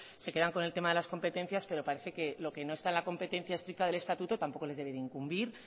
se quedan con el tema de las competencias pero parece que lo que no está en la competencia estricta del estatuto tampoco les debe de incumbir